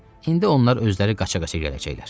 İndi onlar özləri qaça-qaça gələcəklər.